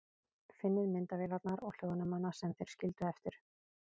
Finnið myndavélarnar og hljóðnemana sem þeir skildu eftir.